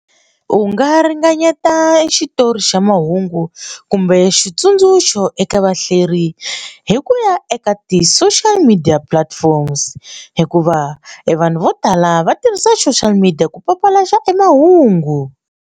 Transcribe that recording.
U nga ringanyeta xitori xa mahungu kumbe xitsundzuxo eka vahlaleri hi ku ya eka ti social media platforms hikuva e vanhu vo tala va tirhisa social media ku papalata emahungu.